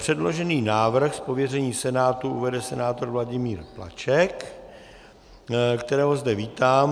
Předložený návrh z pověření Senátu uvede senátor Vladimír Plaček, kterého zde vítám.